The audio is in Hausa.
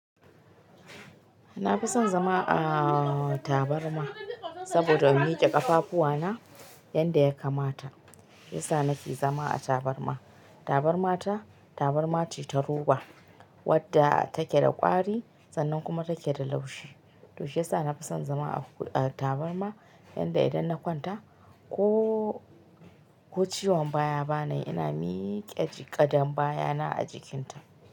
Na fi son zama a tabarma sabida in miƙe ƙafafuwana yanda ya lkamata, shi yasa nake zama a tabarma. Tabarma ta, tabarma ce ta roba wadda take da ƙwari sannan kuma take da laushi, to shi yasa nafi son zama a tabarma yanda idan na kwanta ko, ko ciwon baya ba nayi ina miƙe gadan baya na a jikinta.